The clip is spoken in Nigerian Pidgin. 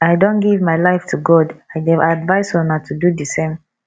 i don give my life to god i dey advice una to do the same